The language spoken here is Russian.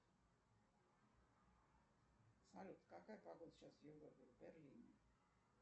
салют какая погода сейчас в европе в берлине